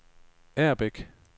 Agerbæk